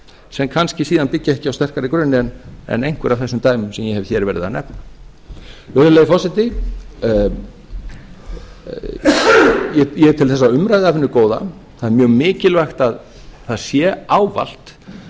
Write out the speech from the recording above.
sem kannski síðan byggja ekki á sterkari grunni en einhver af þessum dæmum sem ég hef hér verið að nefna virðulegi forseti ég tel þessa umræðu af hinu góða það er mjög mikilvægt að það sé ávallt